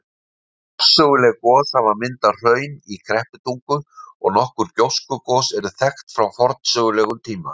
Forsöguleg gos hafa myndað hraun í Krepputungu, og nokkur gjóskugos eru þekkt frá forsögulegum tíma.